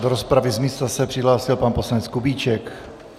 Do rozpravy z místa se přihlásil pan poslanec Kubíček.